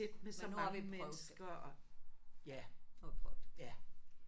Men nu har vi prøvet det. Nu har vi prøvet det